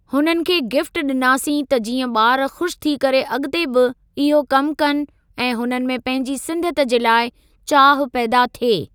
हुननि खे गिफ़्ट डि॒नासीं त जीअं ॿार खु़शि थी करे अॻिते बि इहो कमु कनि ऐं हुननि में पंहिंजी सिंधिअत जे लाइ चाहु पैदा थिये।